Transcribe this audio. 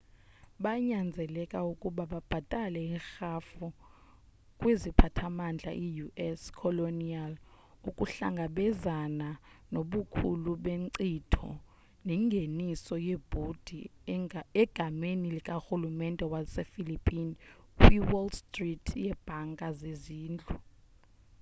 banyanzeleka ukuba babhatale irhafu kwiziphathamandla ius colonial ukuhlangabezana nobukhulu benkcitho nengeniso yebhondi egameni likarulumente wasephillipine kwiwall street yebhanka zezindlu